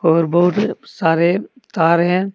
और बहुत सारे तार है।